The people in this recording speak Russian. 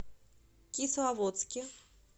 кисловодске